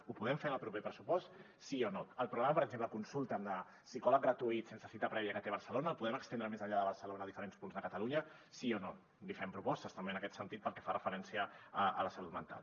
ho podem fer en el proper pressupost sí o no el programa per exemple konsulta’m de psicòleg gratuït sense cita prèvia que té barcelona el podem estendre més enllà de barcelona a diferents punts de catalunya sí o no li fem propostes també en aquest sentit pel que fa referència a la salut mental